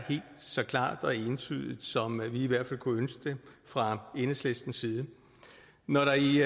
så klart og entydigt som vi i hvert fald kunne ønske det fra enhedslistens side når der i